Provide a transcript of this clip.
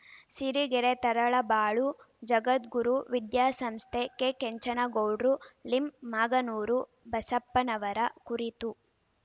ಸಿರಿಗೆರೆ ತರಳಬಾಳು ಜಗದ್ಗುರು ವಿದ್ಯಾಸಂಸ್ಥೆ ಕೆಕೆಂಚನಗೌಡ್ರು ಲಿಂಮಾಗನೂರು ಬಸಪ್ಪನವರ ಕುರಿತು